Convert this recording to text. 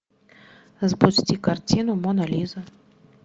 запусти картину мона лиза